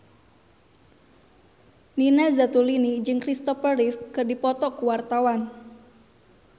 Nina Zatulini jeung Kristopher Reeve keur dipoto ku wartawan